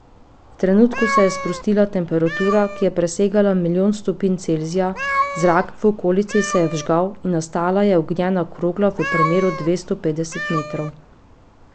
V trenutku se je sprostila temperatura, ki je presegla milijon stopinj Celzija, zrak v okolici se je vžgal in nastala je ognjena krogla v premeru dvesto petdeset metrov.